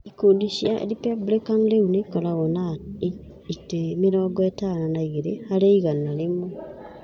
Ikundi cia Republican rĩu ikoragwo na itĩ mĩrongo ĩtano na igĩrĩ harĩ igana rĩmwe.